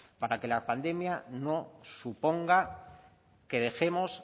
para que la pandemia no suponga que dejemos